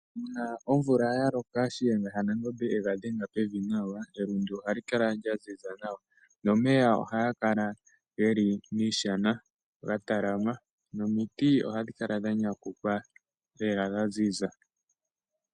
Uuna omvula yaloka, shiyenga shanangombe yenga dhenga pevi nawa, elundu ohali kala lyaziza nawa, omeya ohaga kala geli miiishana, geli gatalaama, nomiti ohadhi kala dha nyanyukwa lela dhaziza.